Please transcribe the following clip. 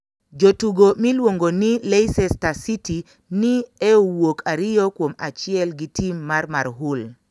Jotugo miluonigo nii leicester city ni e owuok ariyo kuom achiel gi team mar marhull.